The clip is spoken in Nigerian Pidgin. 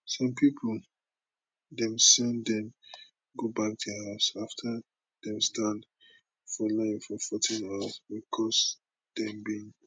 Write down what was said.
some pipo dem send dem go back dia house afta dem stand for line for 14 hours becos dem bin